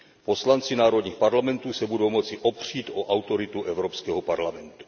Poslanci národních parlamentů se budou moci opřít o autoritu Evropského parlamentu.